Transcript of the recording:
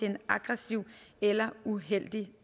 en aggressiv eller uheldig